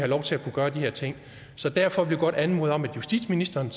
lov til at kunne gøre de her ting så derfor vil jeg godt anmode om at justitsministeren